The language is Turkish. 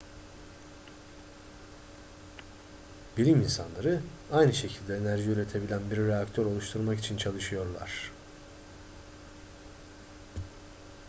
bilim insanları aynı şekilde enerji üretebilen bir reaktör oluşturmak için çalışıyorlar